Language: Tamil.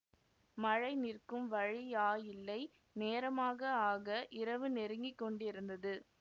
மழை நிற்கும் வழியாயில்லை நேரமாக ஆக இரவு நெருங்கி கொண்டிருந்தது